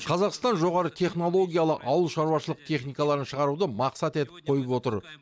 қазақстан жоғары технологиялы ауылшаруашылық техникаларын шығаруды мақсат етіп қойып отыр